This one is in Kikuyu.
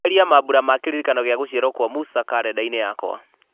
eheria mambura ma kĩririkano gĩa gũciarwo kwa musa karenda-inĩ yakwa